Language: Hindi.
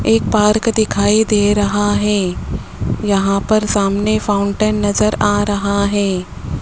एक पार्क दिखाई दे रहा है यहां पर सामने फाउंटेन नज़र आ रहा है।